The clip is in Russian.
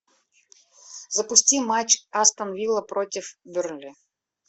запусти матч астон вилла против бернли